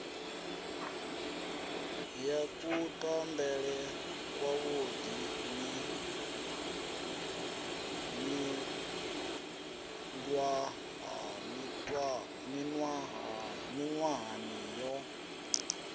ya kutambele kwavhuḓi miṅwahani yo